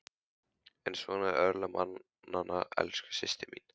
En svona eru örlög mannanna elsku systir mín.